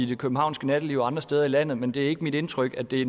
det københavnske natteliv og andre steder i landet men det er ikke mit indtryk at det